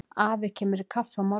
Afi kemur í kaffi á morgun.